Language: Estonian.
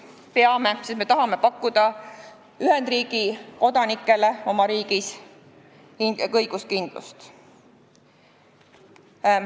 Peame, sest me tahame pakkuda Ühendkuningriigi kodanikele oma riigis õiguskindlust.